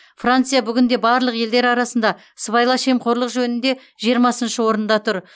франция бүгінде барлық елдер арасында сыбайлас жемқорлық жөнінде жиырмасыншы орында тұр